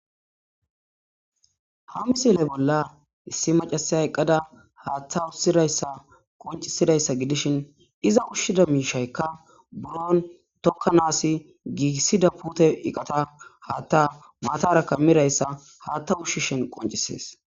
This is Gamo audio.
ha misile bolla issi macasay eqqada haatta ussidayssa qoncisidayssa gidishin iza ushshida miishaykka buron tokka naasi giiissida pute iqata haatta matara ka mirayssa haatta ushshishin qoncisees